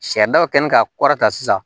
Saridaba kɛlen ka kɔrɔ ta sisan